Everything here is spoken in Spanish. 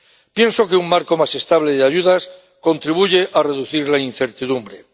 Pienso que un marco más estable de ayudas contribuye a reducir la incertidumbre.